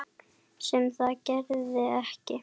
Sem það gerði ekki.